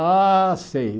Ah, sei.